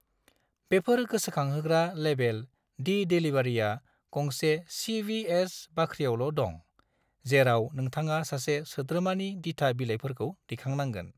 बेफोर गोसोखांहोग्रा लेबेल दि डेलीवारिआ गंसे सी.वी.एस. बाख्रियावल' दं, जेराव नोंथाङा सासे सोद्रोमानि दिथा बिलाइफोरखौ दैखांनांगोन।